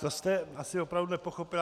To jste asi opravdu nepochopil.